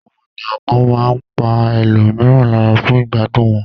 Àwọn ènìyàn kan máa pa ẹlòmíràn lára fún ìgbádùn wọn.